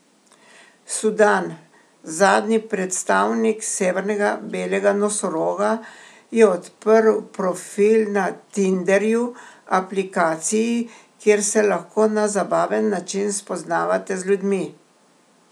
Sudan, zadnji predstavnik severnega belega nosoroga, je odprl profil na Tinderju, aplikaciji, kjer se lahko na zabaven način spoznavate z ljudmi.